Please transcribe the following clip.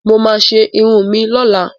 Mo máa ṣe irun mi lọ́la.